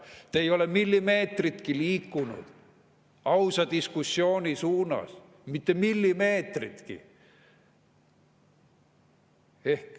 Te ei ole millimeetritki liikunud ausa diskussiooni suunas, mitte millimeetritki.